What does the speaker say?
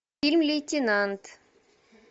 фильм лейтенант